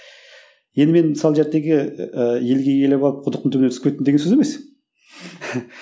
енді мен мысалы ыыы елге келіп алып құдықтың түбіне түсіп кеттім деген сөз емес